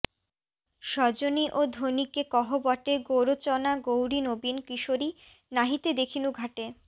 সজনি ও ধনী কে কহ বটে গোরোচনা গৌরী নবীন কিশোরী নাহিতে দেখিনু ঘাটে